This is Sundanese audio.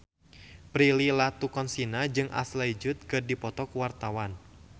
Prilly Latuconsina jeung Ashley Judd keur dipoto ku wartawan